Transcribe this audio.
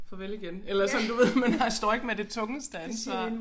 Farvel igen eller sådan du ved man har står ikke med det tungeste ansvar